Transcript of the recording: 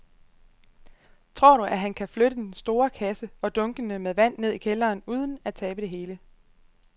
Tror du, at han kan flytte den store kasse og dunkene med vand ned i kælderen uden at tabe det hele?